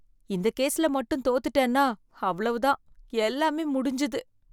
இந்த கேஸ்ல மட்டும் தோத்துட்டேன்னா, அவ்வளவுதான், எல்லாமே முடிஞ்சுது.